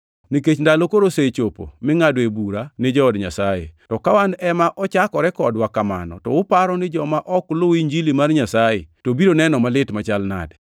Nikech ndalo koro osechopo mingʼadoe bura ni jood Nyasaye. To ka wan ema ochakore kodwa kamano to uparo ni joma ok luw Injili mar Nyasaye to biro neno malit machal nadi?